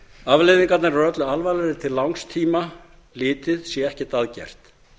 afleiðingarnar eru öllu alvarlegri til langs tíma litið sé ekkert að gert